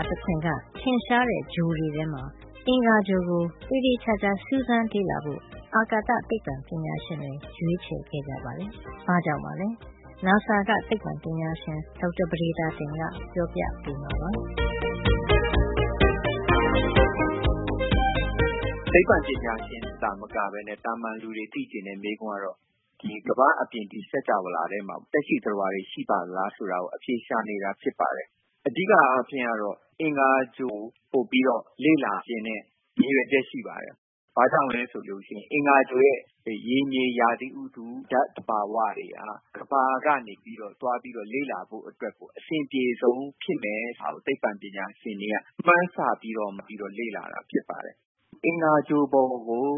ာတခွင်က ထင်ရှားတဲ့ဂြိုဟ်တွေထဲမှာ အင်္ဂါဂြိုဟ်ကို သေသေချာချာ စူးစမ်းလေ့လာဖို့ အာကာသသိပ္ပံပညာရှင်တွေ ရွေးချယ်ခဲ့ကြပါတယ်။ ဘာ့ကြောင့်ပါလဲ။ NASA က သိပ္ပံပညာရှင် ဒေါက်တာ ပဒေသာတင်က ပြောပြပေးမှာပါ။ ဒေါက်တာပဒေသာတင်။ ။“သိပ္ပံပညာရှင်တွေသာမကပဲနဲ့ သာမန်လူတွေ သိချင်တဲ့ မေးခွန်းကတော့ ကမ္ဘာအပြင် ဒီစင်္ကြာဝဌာထဲမှာ သက်ရှိသတ္တဝါတွေ ရှိပါသလား ဆိုတာကို အဖြေရှာနေတာ ဖြစ်ပါတယ်။ အဓိက အားဖြင့်ကတော့ အင်္ဂါဂြိုဟ်ကို ပိုပြီးတော့ လေ့လာချင်တဲ့ ရည်ရွယ်ချက် ရှိပါတယ်။ ဘာကြောင့်လည်း ဆိုရင် အင်္ဂါဂြိုဟ်ရဲ့ ရေမြေရာသီဥတု၊ ဓါတ်သဘာဝတွေက ကမ္ဘာကနေ သွားပြီး လေ့လာဖို့အတွက် အဆင်အပြေဆုံး ဖြစ်နိုင်မယ်လို့ မှန်းဆပြီးတော့လေ့လာတာ ဖြစ်ပါတယ်။ အင်္ဂါဂြိုဟ်ပေါ်ကို